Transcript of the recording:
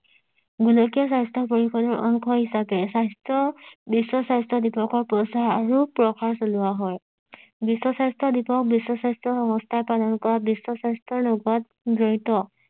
গোলকীয় স্বাস্থ্য পৰিষদৰ অংশ হিচাপে স্বাস্থ্য বিশ্ব স্বাস্থ্য দিৱসৰ প্ৰচাৰ আৰু প্ৰসাৰ চলোৱা হয় বিশ্ব স্বাস্থ্য দিৱস বিশ্ব স্বাস্থ্য সংস্থায় পালন কৰাত বিশ্ব স্বাস্থ্যৰ লগত জড়িত